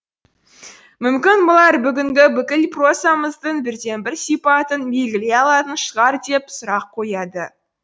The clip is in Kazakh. мүмкін бұлар бүгінгі бүкіл прозамыздың бірден бір сипатын белгілей алатын шығар деп сұрақ қояды